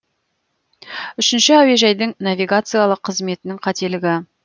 үшінші әуежайдың навигациялық қызметінің қателігі